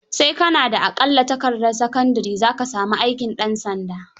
Sai ka na da aƙalla takardar sakandire za ka sami aikin ɗansanda.